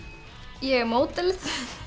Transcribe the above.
ég er módelið